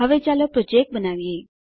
હવે ચાલો પ્રોજેક્ટ બનાવીએ